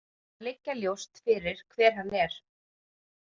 Því verður að liggja ljóst fyrir hver hann er.